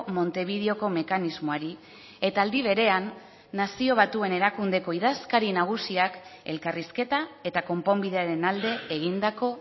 montevideoko mekanismoari eta aldi berean nazio batuen erakundeko idazkari nagusiak elkarrizketa eta konponbidearen alde egindako